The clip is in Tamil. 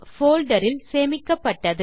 போல்டர் இல் சேமிக்கப்பட்டது